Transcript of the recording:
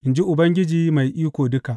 in ji Ubangiji Mai Iko Duka.